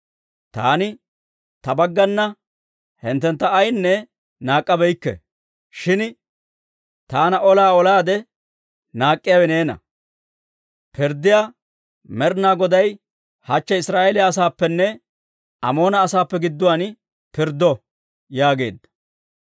Taani ta baggana hinttentta ayaanne naak'k'abeykke; shin taana olaa olaade naak'k'iyaawe neena. Pirddiyaa Med'inaa Goday hachche Israa'eeliyaa asaappenne Amoona asaappe gidduwaan pirddo» yaageedda.